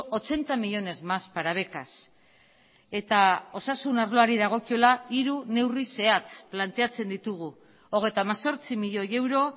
ochenta millónes más para becas eta osasun arloari dagokiola hiru neurri zehatz planteatzen ditugu hogeita hemezortzi milioi euro